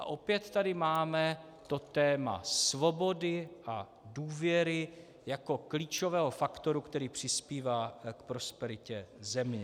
A opět tady máme to téma svobody a důvěry jako klíčového faktoru, který přispívá k prosperitě země.